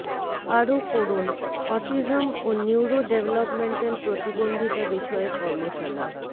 আরো পড়ুন অটিজম ও নিউরো ডেভেলপমেন্টাল প্রতিবন্ধিতা বিষয়ে কর্মশালা